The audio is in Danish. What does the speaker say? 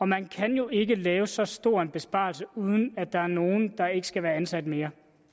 man kan jo ikke lave en så stor besparelse uden at der er nogle der ikke skal være ansat mere